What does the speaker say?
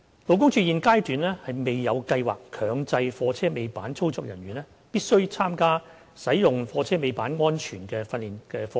勞工處現階段未有計劃強制貨車尾板操作人員必須參加使用貨車尾板安全訓練課程。